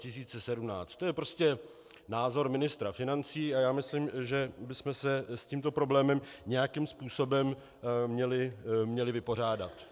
To je prostě názor ministra financí a já myslím, že bychom se s tímto problémem nějakým způsobem měli vypořádat.